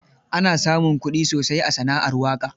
Ana samun kuɗi sosai a sana'ar waƙa.